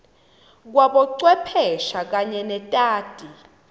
kwabocwepheshe kanye netati